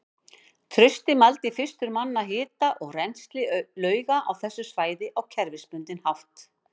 Trausti mældi fyrstur manna hita og rennsli lauga á þessu svæði á kerfisbundinn hátt.